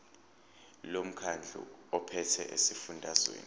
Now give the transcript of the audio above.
lomkhandlu ophethe esifundazweni